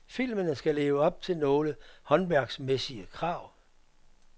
Filmene skal leve op til nogle håndværksmæssige krav.